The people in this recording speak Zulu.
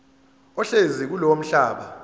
ohlezi kulowo mhlaba